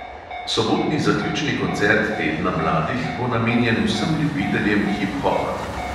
Sobotni zaključni koncert tedna mladih bo namenjen vsem ljubiteljem hip hopa.